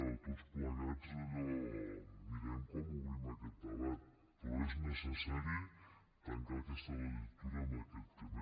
o tots plegats allò mirem com obrim aquest debat però és necessari tancar aquesta legislatura amb aquest tema